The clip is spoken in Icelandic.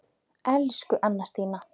Elsku Anna Stína.